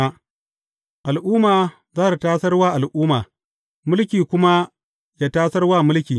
Al’umma za tă tasar wa al’umma, mulki kuma yă tasar wa mulki.